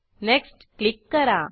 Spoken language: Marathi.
नेक्स्ट क्लिक करा